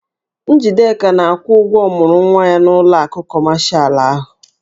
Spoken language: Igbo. Njideka na-akwụ ụgwọ ọmụrụnwa ya n'ụlọ akụ kọmashalụ ahụ.